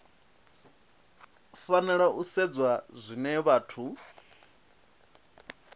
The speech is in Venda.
fanela u sedzwa zwine vhathu